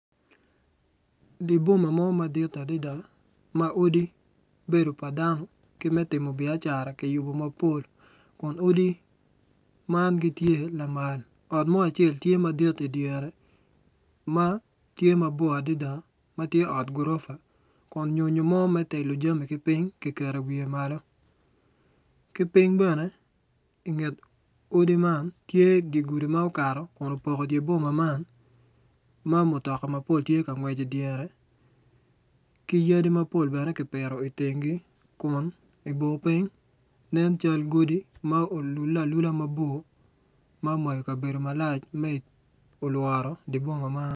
Di bomma mo madit adida ma odi ma odi bedo pa dano ki me timmo baicara ki yubu mapol kun odi man gitye lamal ot mo acel tye madit idyere ma tye mabor adida ma tye ot gurofa kun nyonyo mo me telo jami ki piny ki keto iwiye malo ki piny bene inget odi man tye di gudi ma okato kun opoko dye boma man ma mutoka mapol tye ka ngwec idyere ki yadi mapol bene kipito i kingi itengi kun ibor piny nen cal godi ma olule alula mabor ma omayo kabedo malac ma olworo di boma man